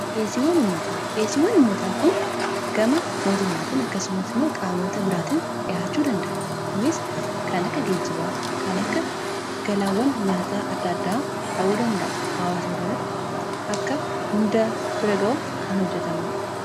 dhiyeessiiwwan ummataa kun gama mootummaatiin akkasumas immoo qaamoota biraatin dhihaachuu danda'a. Kunis kan akka geejjibaa kan akka galaawwan nyaataa adda addaa ta'uu danda'a hawaasa biraatti akka hunda bira ga'uuf kan hojjetamuudha.